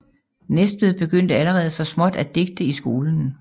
Næstved begyndte allerede så småt at digte i skolen